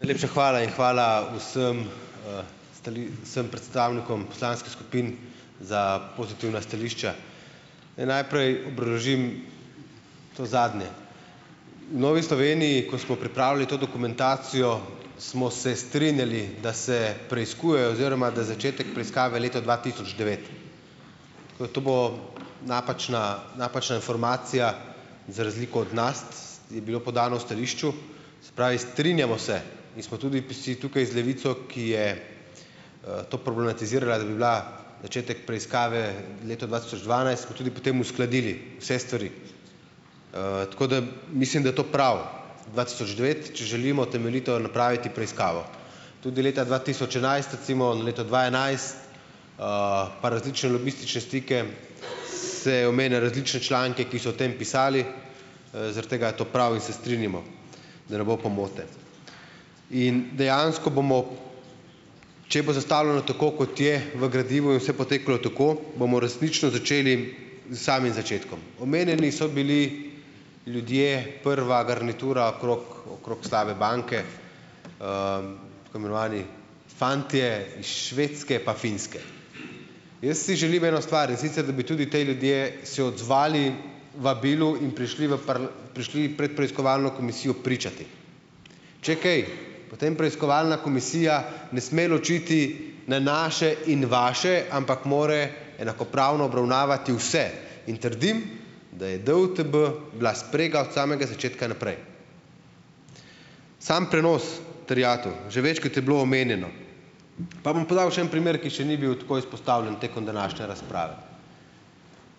Najlepša hvala. In hvala vsem vsem predstavnikom poslanskih skupin za pozitivna stališča. Naj najprej obržim to zadnje. V Novi Sloveniji, ko smo pripravili to dokumentacijo, smo se strinjali, da se preiskuje oziroma da začetek preiskave leta dva tisoč devet. To bo napačna napačna informacija, za razliko od nas je bilo podano v stališču. Se pravi, strinjamo se in smo tudi si tukaj z Levico, ki je to problematizirala, da bi bila začetek preiskave leto dva tisoč dvanajst, smo tudi potem uskladili vse stvari. Tako da mislim, da je to prav, dva tisoč devet, če želimo temeljito napraviti preiskavo. Tudi leta dva tisoč enajst, recimo, leto dva enajst, pa različne lobistične stike se omenja, različne članke, ki so o tem pisali, zaradi tega je to prav in se strinjamo, da ne bo pomote. In dejansko bomo, če bo zastavljeno tako, kot je v gradivu, in vse potekalo tako, bomo resnično začeli zs samim začetkom. Omenjeni so bili ljudje, prva garnitura okrog okrog slabe banke, tako imenovani fantje iz Švedske pa Finske. Jaz si želim eno stvar, in sicer da bi tudi ti ljudje se odzvali vabilu in prišli v prišli pred komisijo pričat preiskovalno. Če kaj, potem preiskovalna komisija ne sme ločiti na naše in vaše, ampak mora enakopravno obravnavati vse. In trdim, da je DUTB bila sprega od samega začetka naprej. Samo prenos terjatev, že večkrat je bilo omenjeno, pa bom podal še en primer, ki še ni bil tako izpostavljen tekom današnje razprave.